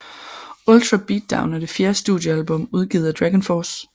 Ultra Beatdown er det fjerde studiealbum udgivet af Dragonforce